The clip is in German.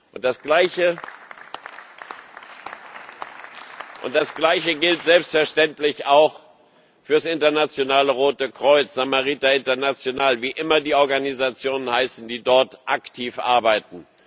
Und das Gleiche gilt selbstverständlich auch für das Internationale Rote Kreuz, Samariter International, wie immer die Organisationen heißen, die dort aktiv arbeiten.